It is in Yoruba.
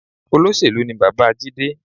Olóṣèlú ni bàbá Jide